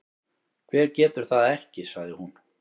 Hver getur það ekki? sagði hún.